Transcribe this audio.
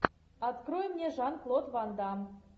открой мне жан клод ван дамм